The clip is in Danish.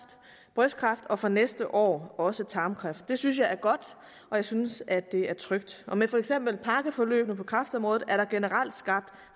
brystkræft og fra næste år også for tarmkræft det synes jeg er godt og jeg synes at det er trygt med for eksempel pakkeforløbene på kræftområdet er der generelt skabt